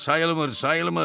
Sayılmır, sayılmır.